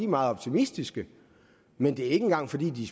meget optimistiske men det er ikke engang fordi de